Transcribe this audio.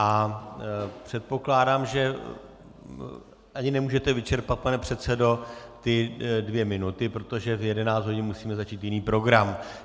A předpokládám, že ani nemůžete vyčerpat, pane předsedo, ty dvě minuty, protože v 11 hodin musíme začít jiný program.